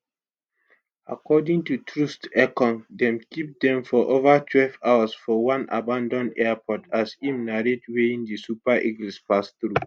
according to troostekong dem keep dem for over twelve hours for one abanAcceptedd airport as im narrate weyin di super eagles pass through